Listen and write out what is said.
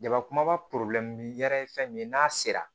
Jaba kumaba yɛrɛ ye fɛn min ye n'a sera